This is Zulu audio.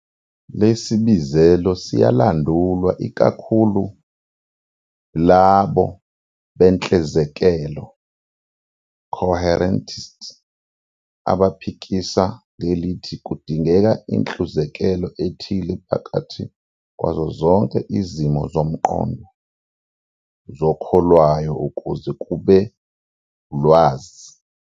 Lesibizelo siyalandulwa ikakhulu yolabo benhlezekelo, "coherentists", abaphikisa ngelithi kudingeka inhluzekelo ethile phakathi kwazo zonke izimo zomqondo zokholwayo ukuze kube ulwazi.